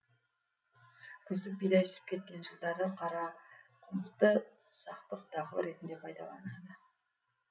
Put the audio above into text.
күздік бидай үсіп кеткен жылдары қарақұмықты сақтық дақыл ретінде пайдаланады